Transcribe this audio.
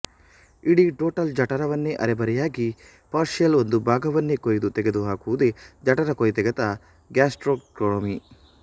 ಇಡೀ ಟೋಟಲ್ ಜಠರವನ್ನೋ ಅರೆಬರೆಯಾಗಿ ಪಾರ್ಷಿಯಲ್ ಒಂದು ಭಾಗವನ್ನೋ ಕೊಯ್ದು ತೆಗೆದುಹಾಕುವುದೇ ಜಠರಕೊಯ್ತೆಗೆತ ಗ್ಯಾಸ್ಟ್ರೆಕ್ಟೊಮಿ